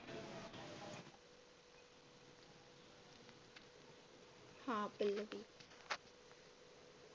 हा पल्लवी